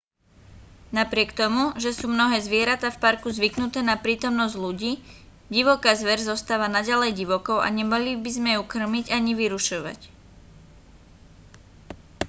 napriek tomu že sú mnohé zvieratá v parku zvyknuté na prítomnosť ľudí divoká zver zostáva naďalej divokou a nemali by sme ju kŕmiť ani vyrušovať